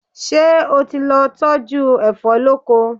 Ṣé o ti lọ tu ẹ̀fọ́ lóko?